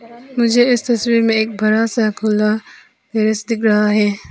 मुझे इस तस्वीर में एक बड़ा सा खुला टैरेश दिख रहा है।